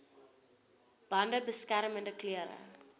bande beskermende klere